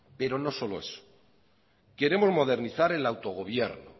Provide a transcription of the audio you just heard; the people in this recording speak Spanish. pero no solo eso queremos modernizar el autogobierno